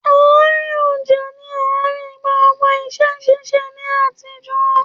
Àárín ọjà ní àárín gbogbo iṣẹ́ ṣíṣe ní àtijọ́.